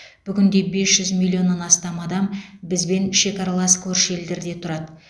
бүгінде бес жүз миллионнан астам адам бізбен шекаралас көрші елдерде тұрады